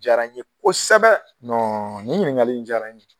Diyara n ye kosɛbɛ nin ɲininkali diyara n ye.